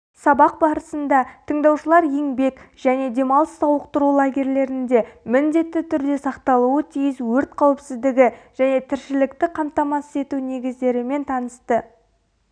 сабақ барысында тыңдаушылар еңбек және демалыс сауықтыру лагерьлерінде міндетті түрде сақталуы тиіс өрт қауіпсіздігі және тіршілікті қамтамасыз ету негіздерімен танысты